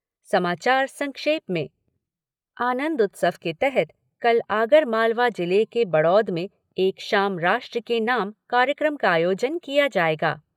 समाचार संक्षेप में आनंद उत्सव के तहत कल आगरमालवा जिले के बड़ौद में एक शाम राष्ट्र के नाम कार्यक्रम का आयोजन किया जायेगा।